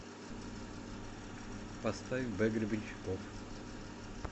поставь б гребенщиков